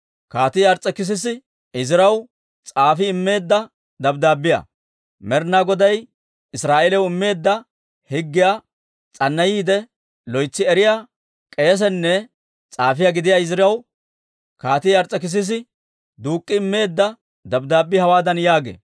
Med'inaa Goday Israa'eeliyaw immeedda higgiyaa s'annayiide, loytsi eriyaa k'eesenne s'aafiyaa gidiyaa Iziraw Kaatii Ars's'ekisise duuk'i immeedda dabddaabbii hawaadan yaagee: